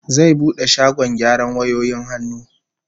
Zai bude shagkn gyaran wayoyin hannu